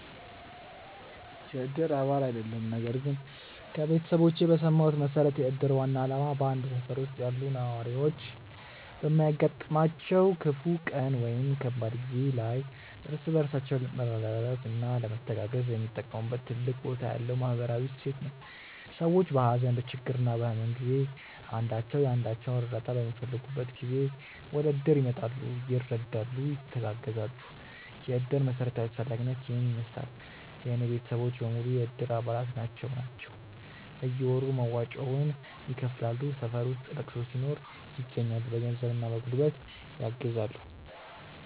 የእድር አባል አይደለሁም ነገር ግን ከቤተሰቦቼ በሰማሁት መሠረት የእድር ዋና ዓላማ በአንድ ሠፈር ውስጥ ያሉ ነዋሪዎች በሚያጋጥማቸው ክፉ ቀን ወይም ከባድ ጊዜ ላይ እርስ በራሳቸው ለመረዳዳትና ለመተጋገዝ የሚጠቀሙበት ትልቅ ቦታ ያለው ማኅበራዊ እሴት ነው። ሰዎች በሀዘን፣ በችግርና በሕመም ጊዜ አንዳቸው የአንዳቸውን እርዳታ በሚፈልጉበት ጊዜ ወደእድር ይመጣሉ፤ ይረዳሉ፣ ይተጋገዛሉ። የእድር መሠረታዊ አስፈላጊነት ይሔን ይመሥላል። የእኔ ቤተሰቦች በሙሉ የእድር አባላት ናቸው ናቸው። በየወሩ መዋጮውን ይከፍላሉ፣ ሠፈር ውስጥ ለቅሶ ሲኖር ይገኛሉ። በገንዘብና በጉልበት ያግዛሉ።